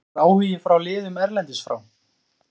Var einhver áhugi frá liðum erlendis frá?